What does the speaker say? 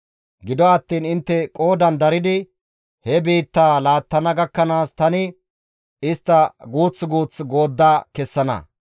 Gido attiin intte qoodan daridi, he biittaa laattana gakkanaas, tani istta guuth guuth goodda kessana.